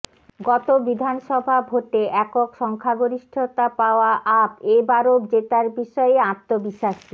গত বিধানসভা ভোটে একক সংখ্যাগরিষ্ঠতা পাওয়া আপ এ বারও জেতার বিষয়ে আত্মবিশ্বাসী